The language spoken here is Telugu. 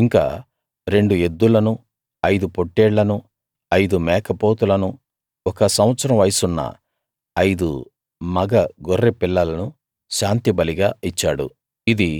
ఇంకా రెండు ఎద్దులను ఐదు పొట్టేళ్లనూ ఐదు మేకపోతులను ఒక సంవత్సరం వయసున్న ఐదు మగ గొర్రె పిల్లలను శాంతిబలిగా ఇచ్చాడు ఇది